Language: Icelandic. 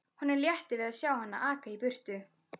Honum létti við að sjá hana aka í burtu.